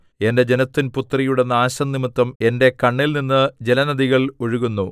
എന്റെ ജനത്തിൻപുത്രിയുടെ നാശംനിമിത്തം എന്റെ കണ്ണിൽ നിന്ന് ജലനദികൾ ഒഴുകുന്നു